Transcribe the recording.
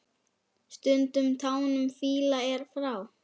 Stundum tánum fýla er frá.